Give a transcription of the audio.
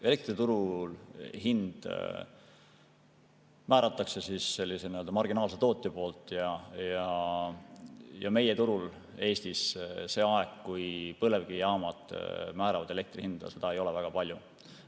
Elektri turuhind määratakse sellise marginaalse tootja poolt ja Eestis turul seda aega, kui põlevkivijaamad määravad elektri hinda, ei ole väga palju.